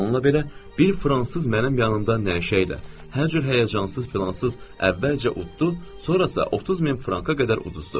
Bununla belə bir fransız mənim yanımda nəşəylə, hər cür həyəcansız filansız, əvvəlcə uddu, sonra isə 30000 franka qədər uduzdu.